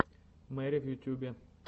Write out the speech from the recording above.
мэри в ютьюбе